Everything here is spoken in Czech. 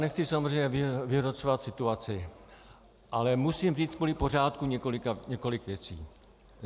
Nechci samozřejmě vyhrocovat situaci, ale musím říct kvůli pořádku několik věcí.